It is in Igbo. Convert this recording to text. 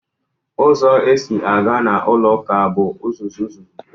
Uzo esi aga n'ulo uka bu uzuzu uzuzu